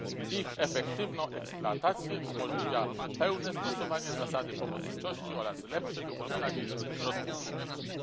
Ich efektywną eksploatację umożliwia pełne stosowanie zasady pomocniczości oraz lepsze wykorzystanie środków publicznych.